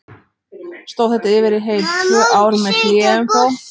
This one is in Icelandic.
Stóð þetta yfir í heil tvö ár, með hléum þó.